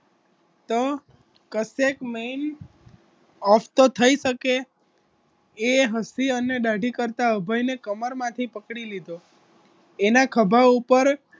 તો કશેક મેઈન ઓફ તો થઈ શકે એ હસી અને દાઢી કરતાં અભયને કમરમાંથી પકડી લીધો એના ખભા ઉપર